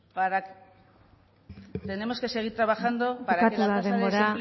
tenemos que seguir trabajando para que la tasa de desempleo